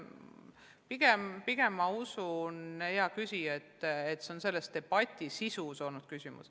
Pigem ma usun, hea küsija, et küsimus on olnud selle debati sisus.